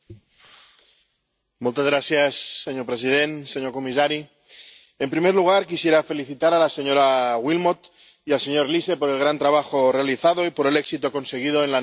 Señor presidente, señor comisario, en primer lugar quisiera felicitar a la señora Willmott y al señor Liese por el gran trabajo realizado y por el éxito conseguido en la negociación de estos dos informes.